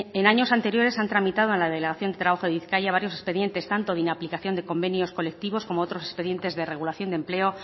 en años anteriores han tramitado en la delegación de trabajo de bizkaia varios expedientes tanto de inaplicación de convenios colectivos como otros expedientes de regulación de empleo